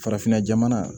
Farafinna jamana